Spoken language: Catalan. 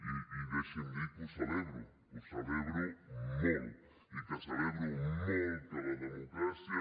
i deixi’m dir que ho celebro que ho celebro molt i que celebro molt que la democràcia